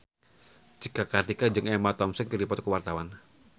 Cika Kartika jeung Emma Thompson keur dipoto ku wartawan